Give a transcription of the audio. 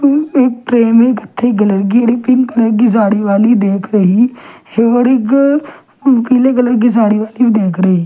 एक ट्रे में कथे कलर की पिंक कलर की साड़ी वाली देख रही है और एक पीले कलर की साड़ी वाली देख रही--